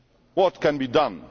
What can be done?